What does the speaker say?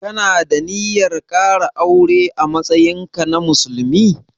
Ka na da ninyar ƙara aure a matsayin ka na musulmi?